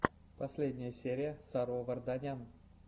последняя серия саро варданян